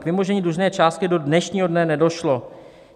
"K vymožení dlužné částky do dnešního dne nedošlo.